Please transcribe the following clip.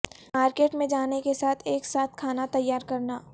market میں جانے کے ساتھ ایک ساتھ کھانا تیار کرنا